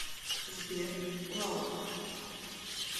сбер лау